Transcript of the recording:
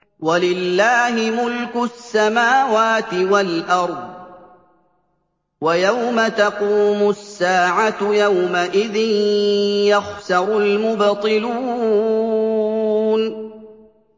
وَلِلَّهِ مُلْكُ السَّمَاوَاتِ وَالْأَرْضِ ۚ وَيَوْمَ تَقُومُ السَّاعَةُ يَوْمَئِذٍ يَخْسَرُ الْمُبْطِلُونَ